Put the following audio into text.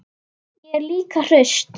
Ég er líka hraust.